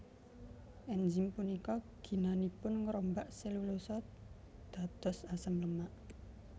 Enzim punika ginanipun ngrombak selulosa dados asam lemak